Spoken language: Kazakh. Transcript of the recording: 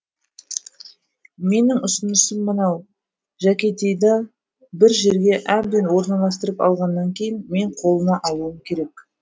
менің ұсынысым мынау жәкетейды бір жерге әбден орналасып алғаннан кейін мен қолыма алуым керек